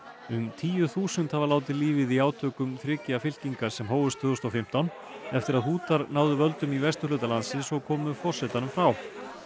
um tíu þúsund hafa látið lífið í átökum þriggja fylkinga sem hófust tvö þúsund og fimmtán eftir að náðu völdum í vesturhluta landsins og komu forsetanum frá